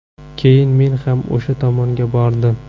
Keyin men ham o‘sha tomonga bordim.